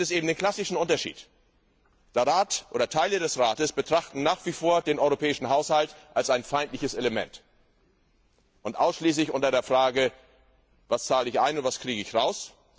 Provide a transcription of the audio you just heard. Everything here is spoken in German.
Aber da gibt es eben den klassischen Unterschied der Rat oder Teile des Rates betrachten nach wie vor den europäischen Haushalt als ein feindliches Element. Sie sehen ihn ausschließlich unter dem Gesichtspunkt Was zahle ich ein und was kriege ich raus?